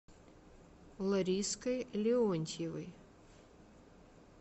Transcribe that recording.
лариской леонтьевой